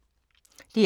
DR2